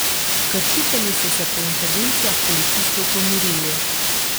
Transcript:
Kršitelji so se po intervencijah policistov pomirili.